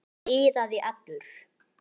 Emil iðaði allur.